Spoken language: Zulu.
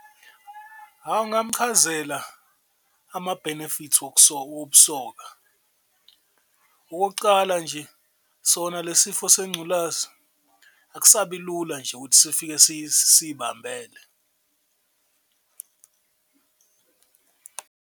Hawu ngamchazela ama-benefits wobusoka, okokucala nje sona le sifo sengculazi akusabi lula nje ukuthi sifike siy'bambele.